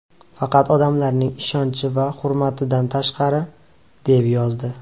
Faqat odamlarning ishonchi va hurmatidan tashqari...”, deb yozdi .